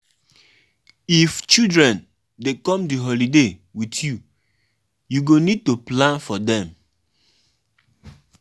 Tradition and religion fit clash, but you fit blend dem well. blend dem well.